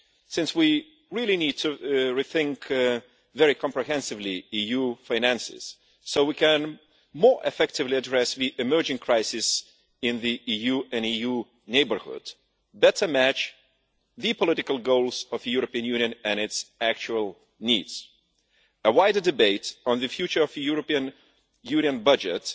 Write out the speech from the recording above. Since we really need to rethink very comprehensively EU finances so we can more effectively address the emerging crisis in the EU and the EU neighbourhood, better match the political goals of the European Union and its actual needs, a wider debate on the future for the European Union budget